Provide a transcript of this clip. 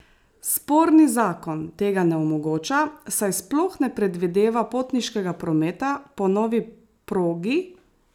Sporni zakon tega ne omogoča, saj sploh ne predvideva potniškega prometa po novi progi!